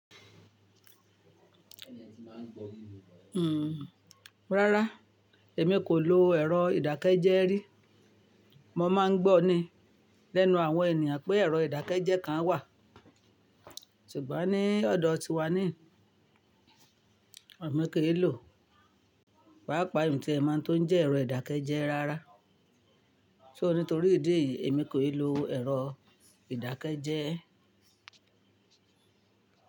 Hmm. Rárá, èmi kò lo ẹ̀rọ ìdákẹ́jẹ́ rí. Mo máa ń gbọ́ ni lẹ́nu àwọn ènìyàn pé ẹ̀rọ ìdákẹ́jẹ́ kan wà. Ṣùgbọ́n ní ọ̀dọ̀ tiwa níhin, emi ki lò. Pàápàá in ti e mọ ohun tó nje ẹ̀rọ ìdákẹ́jẹ́ rárá. So nítorí ìdí èyí, èmi kò ì lo ẹ̀rọ ìdákẹ́jẹ́.